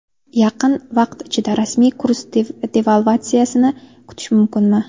Yaqin vaqt ichida rasmiy kurs devalvatsiyasini kutish mumkinmi?